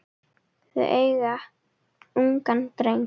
Þau eiga ungan dreng.